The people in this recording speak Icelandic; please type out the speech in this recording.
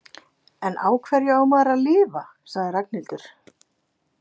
En á hverju á maður að lifa? sagði Ragnhildur.